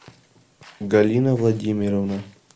галина владимировна